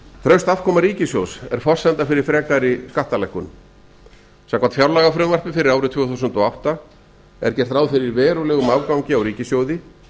traust afkoma ríkissjóðs er forsenda fyrir frekari skattalækkunum samkvæmt fjárlagafrumvarpi fyrir árið tvö þúsund og átta er gert ráð fyrir verulegum afgangi á ríkissjóði